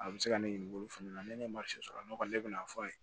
A bɛ se ka ne ɲininka olu fana na ne ye sɔrɔ ne kɔni ne bɛna fɔ a ye